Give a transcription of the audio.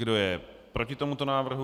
Kdo je proti tomuto návrhu?